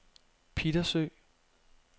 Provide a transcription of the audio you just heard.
Pittersø